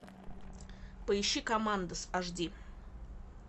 поищи командос аш ди